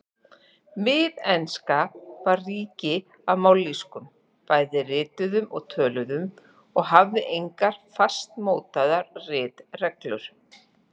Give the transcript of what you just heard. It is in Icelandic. Miðenska var rík af mállýskum, bæði rituðum og töluðum, og hafði engar fastmótaðar ritreglur.